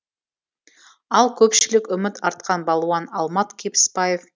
ал көпшілік үміт артқан балуан алмат кебіспаев